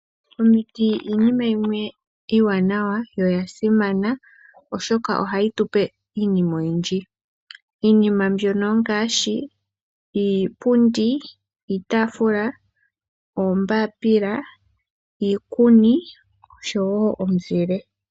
Omiti iinima yimwe iiwanawa yo oya simana ,oshoka ohayi tu pe iinima oyindji. Iinima mbyono ongaashi ; iipundi, iitaafula, oombapila, iikuni osho wo omuzile.